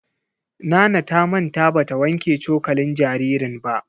Nana ta manta ba ta wanke cokalin jaririn ba.